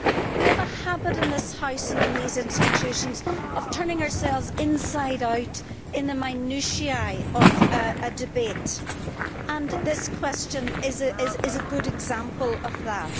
We have a habit in this House and in these institutions of turning ourselves inside out on the minutiae of a debate, and this question is a good example of that.